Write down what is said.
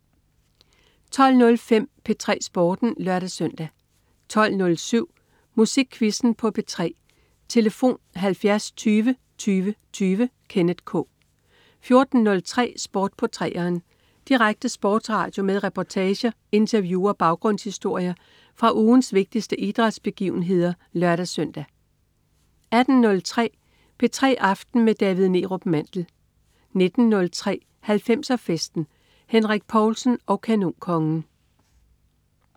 12.05 P3 Sporten (lør-søn) 12.07 Musikquizzen på P3. Tlf.: 70 20 20 20. Kenneth K 14.03 Sport på 3'eren. Direkte sportsradio med reportager, interview og baggrundshistorier fra ugens vigtigste idrætsbegivenheder (lør-søn) 18.03 P3 aften med David Neerup Mandel 19.03 90'er Festen. Henrik Povlsen og Kanonkongen